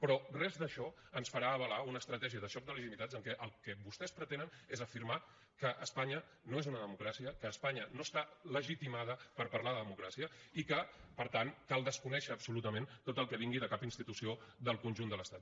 però res d’això ens farà avalar una estratègia de joc de legitimitats en què el que vostès pretenen és afirmar que espanya no és una democràcia que espanya no està legitimada per parlar de democràcia i que per tant cal desconèixer absolutament tot el que vingui de cap institució del conjunt de l’estat